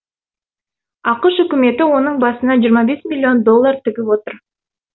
ақш үкіметі оның басына жиырма бес миллион доллар тігіп отыр